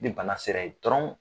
Ni bana sera yen dɔrɔn